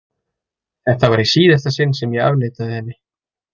Þetta var í síðasta sinn sem ég afneitaði henni.